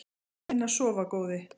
Farðu inn að sofa góði.